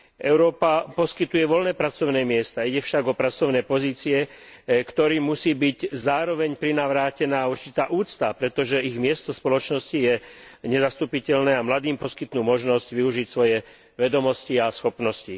Európa poskytuje voľné pracovné miesta, ide však o pracovné pozície, ktorým musí byť zároveň prinavrátená určitá úcta, pretože ich miesto v spoločnosti je nezastupiteľné a mladým poskytnú možnosť využiť svoje vedomosti a schopnosti.